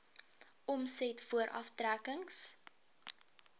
omset voor aftrekkings